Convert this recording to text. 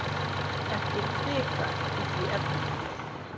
Ekki hvika í því efni.